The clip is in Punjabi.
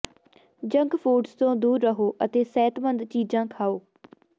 ਜੰਕ ਫੂਡਸ ਤੋਂ ਦੂਰ ਰਹੋ ਅਤੇ ਸਿਹਤਮੰਦ ਚੀਜ਼ਾਂ ਖਾਓ